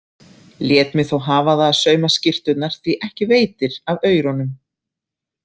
Lét mig þó hafa það að sauma skyrturnar því ekki veitir af aurunum.